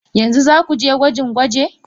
Yanzu za ku je gwajin-gwaje?